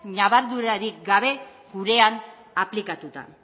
ñabardurarik gabe gurean aplikatuta